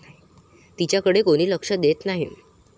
तिच्याकडे कोणी लक्ष देत नाही.